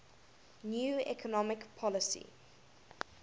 new economic policy